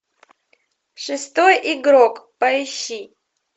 шестой игрок поищи